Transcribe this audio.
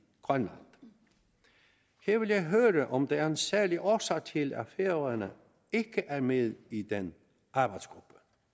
grønland jeg vil høre om der er en særlig årsag til at færøerne ikke er med i den arbejdsgruppe